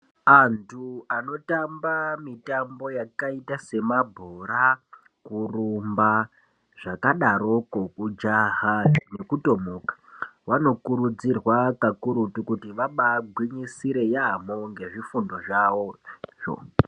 Antu anotamba mitambo yakaita semabhora, kurumba , zvakadarokwo kujaha nekutomuka vokurudzirwa kakurutu kuti vabagwinyisire yaamho ngezvifundo zvavozvo.